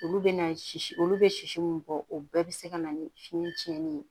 Olu bɛ na sisi olu bɛ sisi min bɔ o bɛɛ bɛ se ka na ni fiɲɛ tiɲɛnen ye